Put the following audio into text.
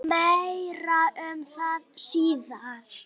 En meira um það síðar.